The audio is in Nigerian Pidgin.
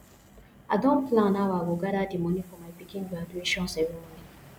i don plan how i go gather di money for my pikin graduation ceremony